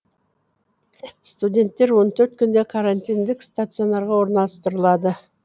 студенттер он төрт күнде карантиндік стационарға орналастырылады